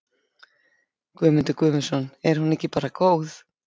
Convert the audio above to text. Guðmundur Guðmundsson: Er hún ekki bara góð?